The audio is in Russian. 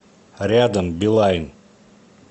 рядом билайн